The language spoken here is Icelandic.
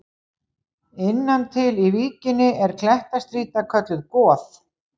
Innan til í víkinni er klettastrýta kölluð Goð.